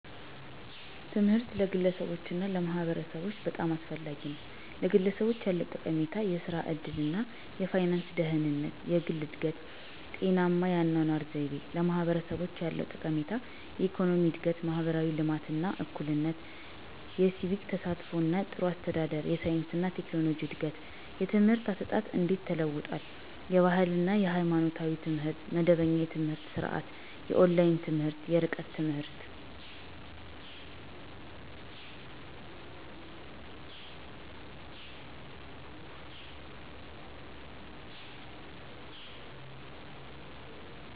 ትምህርት ለግለሰቦች እና ለማህበረሰቦች በጣም አስፈላጊ ነው፤ #ለግለሰቦች ያለው ጠቀሜታ -* የሥራ ዕድል እና የፋይናንስ ደህንነት: * የግል እድገት: * ጤናማ የአኗኗር ዘይቤ: #ለማህበረሰቦች ያለው ጠቀሜታ -* የኢኮኖሚ እድገት: * ማህበራዊ ልማት እና እኩልነት: * የሲቪክ ተሳትፎ እና ጥሩ አስተዳደር: * የሳይንስ እና ቴክኖሎጂ እድገት: #የትምህርት አሰጣጥ እንዴት ተለውጧል? * የባህል እና ሃይማኖታዊ ትምህርት * መደበኛ የትምህርት ስርዓት * የኦንላይን ትምህርት *የርቀት ትምህርት.....